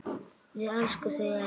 Við elskum þau öll.